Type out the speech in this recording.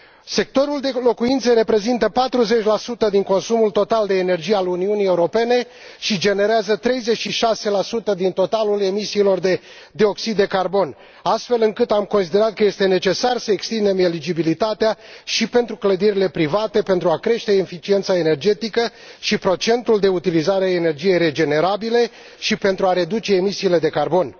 Sectorul de locuințe reprezintă 40 din consumul total de energie al Uniunii Europene și generează 36 din totalul emisiilor de dioxid de carbon, astfel încât am considerat că este necesar să extindem eligibilitatea și pentru clădirile private pentru a crește eficiența energetică și procentul de utilizare a energiei regenerabile și pentru a reduce emisiile de carbon.